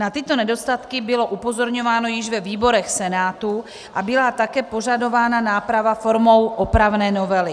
Na tyto nedostatky bylo upozorňováno již ve výborech Senátu a byla také požadována náprava formou opravné novely.